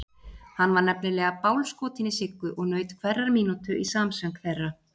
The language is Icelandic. Hann var nefnilega BÁLSKOTINN í Siggu og naut hverrar mínútu í samsöng þeirra.